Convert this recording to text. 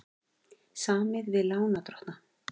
Samið við lánardrottna